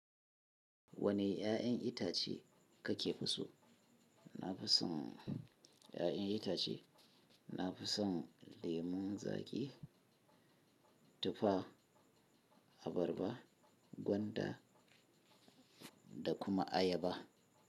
Wane 'ya'yan itace kake so? Na fi son 'ya'yan itace. Na fi son lemon zaƙi, tufa, abarba, gwanda da kuma ayaba.